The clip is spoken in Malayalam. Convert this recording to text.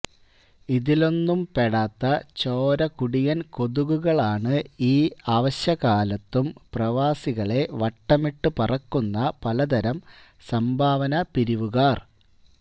ഇതിലൊന്നും പെടാത്ത ചോരകുടിയന് കൊതുകുകളാണ് ഈ അവശകാലത്തും പ്രവാസികളെ വട്ടമിട്ട് പറക്കുന്ന പലതരം സംഭാവന പിരിവുകാര്